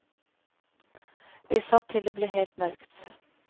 Vi satt til det ble helt mørkt.